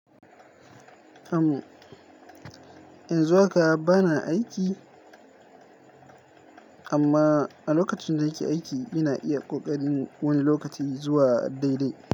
Am yanzu haka bana aiki, amma a lokacin da nake aiki, ina iya ƙoƙarin wani lokaci zuwa daidai.